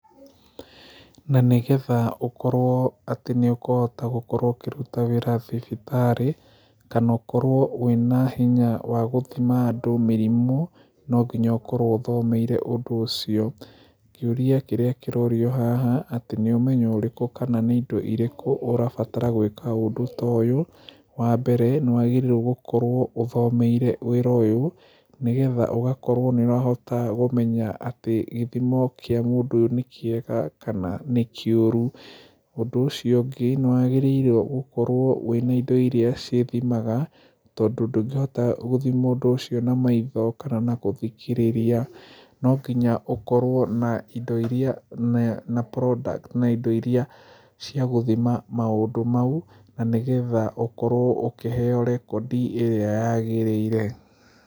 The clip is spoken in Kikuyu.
Na nĩgetha ũkorwo atĩ nĩ ũkũhota gũkorwo ũkĩruta wĩra thibitarĩ kana ũkorwo wĩna hinya wa gũthima andũ mĩrimũ, nonginya ũkorwo ũthomeire ũndũ ũcio. Kĩũria kĩrĩa kĩrorio haha atĩ nĩ ũmenyo ũrĩku kana nĩ indo irĩkũ ũrabatara gwĩka ũndũ ta ũyũ, wa mbere nĩ ũrabatara gũkorwo ũthomeire wĩra ũyũ nĩgetha ũgakorwo nĩ ũrahota kũmenya atĩ gĩthimo kĩa mũndũ ũyũ nĩ kĩega kana nĩ kĩũru. Ũndũ ũcio ũngĩ nĩ wagĩrĩire gũkorwo wĩna indo iria cithimaga tondũ ndũngĩhota gũthima ũndo icio na maitho kana na gũthikĩrĩria. No nginya ũkorwo na indo iria na na product na indo iria cia gũthima maũndũ mau na nĩgetha ũkorwo ũkĩheo record ĩrĩa yagĩrĩire.